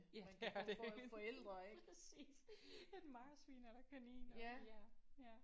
Ja det er det præcis. Et marsvin eller kaniner ja ja